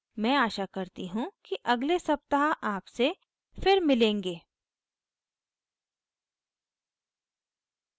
और आशा करती हूँ कि अगले सप्ताह आपसे फिर मिलेंगे